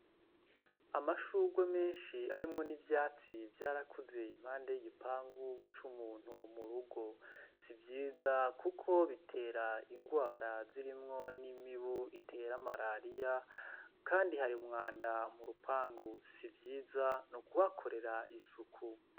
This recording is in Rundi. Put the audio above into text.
Amashurwe menshi arimwo n'ivyatsi vyarakuze impande y'igipangu c'umuntu mu rugo sivyiza, kuko bitera ingwara zirimwo n'imibu itera marariya, kandi hari umwanda murupangu sivyiza no kubakorera isuku.